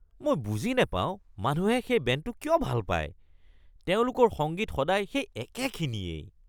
মই বুজি নাপাওঁ মানুহে সেই বেণ্ডটো কিয় ভাল পায়। তেওঁলোকৰ সংগীত সদায় সেই একেখিনিয়েই ।